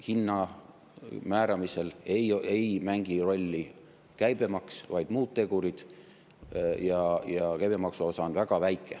Hinna määramisel ei mängi rolli käibemaks, vaid muud tegurid, käibemaksu osa on väga väike.